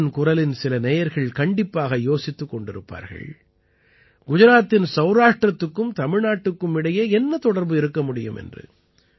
மனதின் குரலின் சில நேயர்கள் கண்டிப்பாக யோசித்துக் கொண்டிருப்பார்கள் குஜராத்தின் சௌராஷ்டிரத்துக்கும் தமிழ்நாட்டிற்கும் இடையே என்ன தொடர்பு இருக்க முடியும் என்று